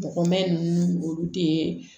Bɔgɔmunnu olu tɛ